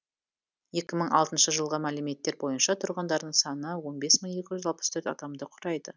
екі мың алтыншы жылғы мәліметтер бойынша тұрғындарының саны он бес мың екі жүз алпыс төрт адамды құрайды